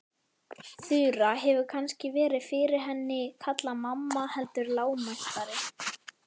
Þura hefur kannski verið fyrir henni kallaði mamma heldur lágmæltari.